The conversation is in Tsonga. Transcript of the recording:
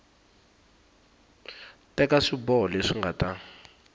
teka swiboho leswi nga ta